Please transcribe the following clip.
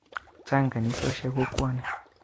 Chang' kanisosyek kokwo ni.